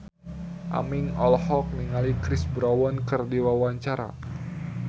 Aming olohok ningali Chris Brown keur diwawancara